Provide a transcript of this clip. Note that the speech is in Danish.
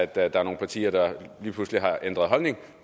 der er nogle partier der lige pludselig har ændret holdning